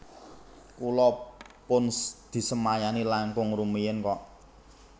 Kula pun disemayani langkung rumiyin kok